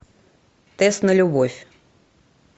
тест на любовь